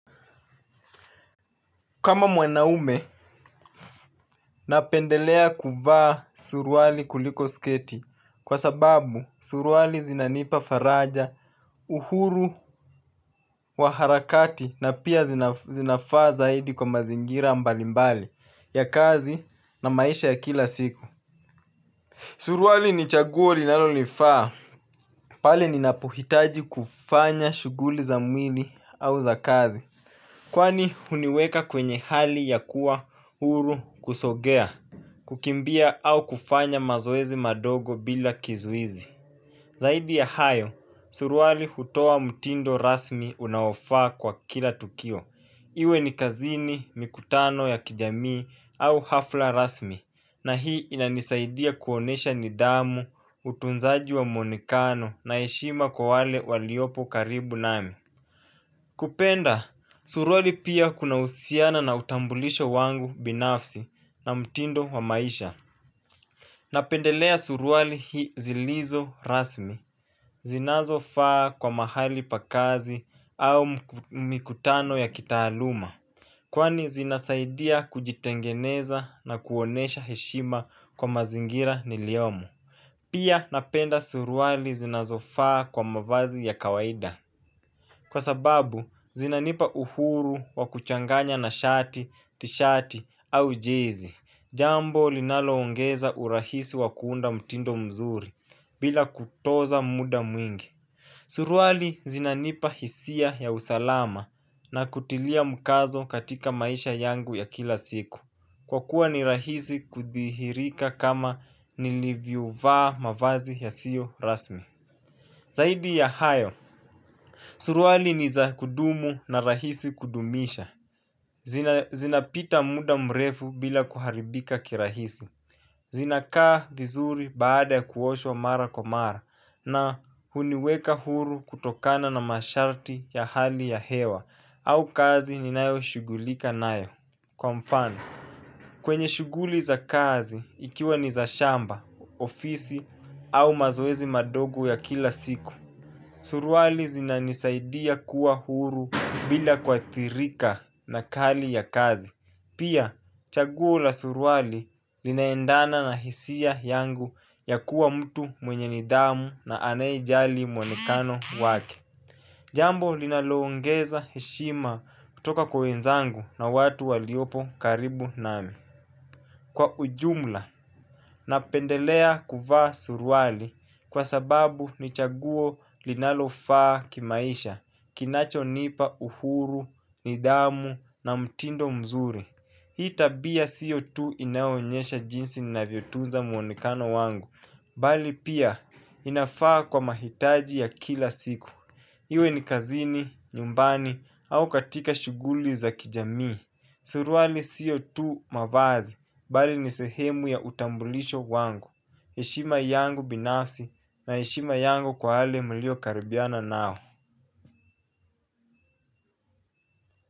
Kama mwanaume, napendelea kuvaa suruali kuliko sketi kwa sababu suruali zinanipa faraja uhuru wa harakati na pia zinafaa zaidi kwa mazingira mbali mbali ya kazi na maisha ya kila siku. Suruali ni chaguo linalolifaa. Pale ninapohitaji kufanya shughuli za mwili au za kazi kwani huniweka kwenye hali ya huru kusogea, kukimbia au kufanya mazoezi madogo bila kizuizi. Zaidi ya hayo, suruali hutoa mtindo rasmi unaofaa kwa kila tukio. Iwe ni kazini, mikutano ya kijamii au hafla rasmi na hii inanisaidia kuonesha nidhamu, utunzaji wa mwonekano na heshima kwa wale waliopo karibu nami. Kupenda, suruali pia kunahusiana na utambulisho wangu binafsi na mtindo wa maisha. Napendelea suruali hii zilizo rasmi zinazofaa kwa mahali pakazi au mikutano ya kitaaluma kwani zinasaidia kujitengeneza na kuonesha heshima kwa mazingira niliyomo. Pia napenda suruali zinazofaa kwa mavazi ya kawaida kwa sababu, zinanipa uhuru wa kuchanganya na shati, tishati au jezi. Jambo linaloongeza urahisi wa kuunda mtindo mzuri bila kutoza muda mwingi. Suruali zinanipa hisia ya usalama na kutilia mkazo katika maisha yangu ya kila siku kwa kuwa ni rahisi kuthihirika kama nilivyovaa mavazi yasiyo rasmi. Zaidi ya hayo suruali ni za kudumu na rahisi kudumisha. Zinapita muda mrefu bila kuharibika kirahisi. Zinakaa vizuri baada ya kuoshwa mara kwa mara na huniweka huru kutokana na masharti ya hali ya hewa au kazi ninayoshughulika nayo kwa mfano. Kwenye shughuli za kazi ikiwa ni za shamba, ofisi au mazoezi madogo ya kila siku. Suruali zinanisaidia kuwa huru bila kuathirika na hali ya kazi. Pia chaguo la suruali linaendana na hisia yangu ya kuwa mtu mwenye nidhamu na anaejali mwonekano wake. Jambo linalongeza heshima kutoka kwa wenzangu na watu waliopo karibu nami. Kwa ujumla napendelea kuvaa suruali kwa sababu ni chaguo linafaa kimaisha, kinachonipa uhuru nidhamu na mtindo mzuri. Hii tabia siyo tu inaonyesha jinsi ninavyotunza mwonekano wangu, bali pia inafaa kwa mahitaji ya kila siku. Iwe ni kazini, nyumbani au katika shughuli za kijamii. Suruali sio mavazi, bali ni sehemu ya utambulicho wangu. Heshima yangu binafsi na heshima yangu kwa wale niliokaribiana nao.